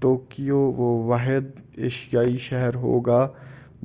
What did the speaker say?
Tokyo وہ واحد ایشیائی شہر ہوگا